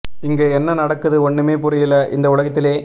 இங்கு என்ன நடக்குது ஒண்ணுமே புரியல இந்த உலகத்திலே